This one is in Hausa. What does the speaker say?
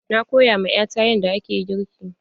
Na koya ma 'ya ta yadda ake girki.